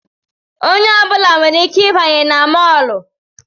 Onye ọbụla nwere ike ịbanye na mọlụ